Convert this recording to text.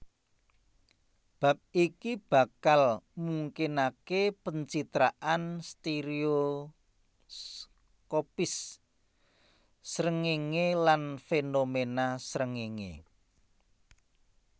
Bab iki bakal mungkinaké pencitraan stereoskopis srengéngé lan fénomena srengéngé